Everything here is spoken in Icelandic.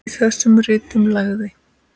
Í þessum ritum lagði